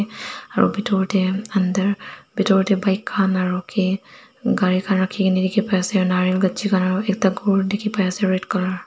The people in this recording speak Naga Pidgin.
aru bithor teh under bithor teh bike khan aru ke gari khan rakhi ke ni dikhi pai ase nariyal gatchi khan ekta ghor dikhi pai ase red colour .